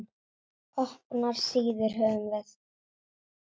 Opnar síður höfum við.